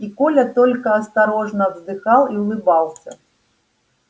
и коля только осторожно вздыхал и улыбался